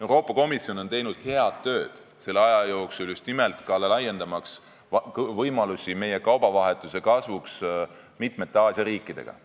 Euroopa Komisjon on teinud selle aja jooksul head tööd just nimelt ka laiendamaks võimalusi, et meie kaubavahetus mitme Aasia riigiga kasvaks.